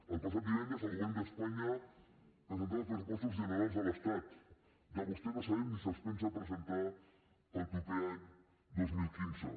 el passat divendres el govern d’espanya presentava els pressupostos generals de l’estat de vostè no sabem ni si els pensa presentar per al proper any dos mil quinze